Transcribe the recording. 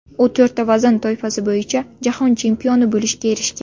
U to‘rtta vazn toifasi bo‘yicha jahon chempioni bo‘lishga erishgan.